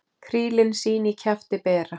Krílin sín í kjafti bera.